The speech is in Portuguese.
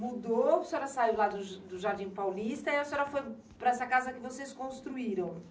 Mudou, a senhora saiu lá do Jardim Paulista e a senhora foi para essa casa que vocês construíram.